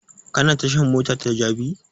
Ka na tashan mota ta jabi?